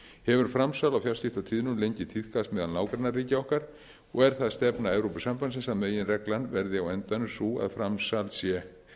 hefur framsal á fjarskiptatíðnum lengi tíðkast meðal nágrannaríkja okkar og er það stefna evrópusambandsins að meginreglan verði á endanum sú að framsal sé